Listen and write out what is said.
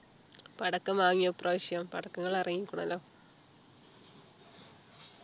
പടക്കം വാങ്ങിയൊ ഇപ്രാവശ്യം പടക്കങ്ങൾ ഇറങ്ങിക്കുന്നല്ലോ